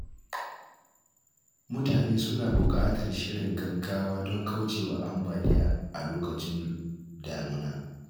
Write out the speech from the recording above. Mutane suna buƙatar shirin gaggawa don kauce wa ambaliya a lokacin damuna.